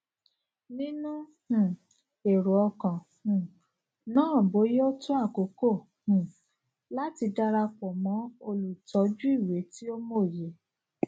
nínú um èrò kan um náàboya ó tó àkókò um láti darapọ mọ olùtọjú ìwé ti ó mòye